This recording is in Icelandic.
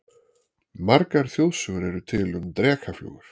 Margar þjóðsögur eru til um drekaflugur.